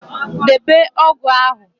Debe ógụ̀ ahụ